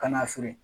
Kana feere